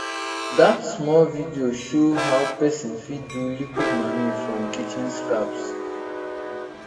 that small video show how person fit do liquid manure from kitchen scaps